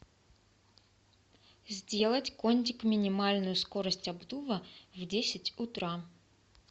сделать кондик минимальную скорость обдува в десять утра